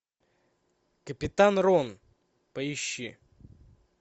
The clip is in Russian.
капитан рон поищи